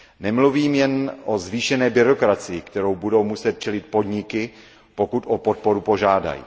Nemluvím jen o zvýšené byrokracii, které budou muset čelit podniky, pokud o podporu požádají.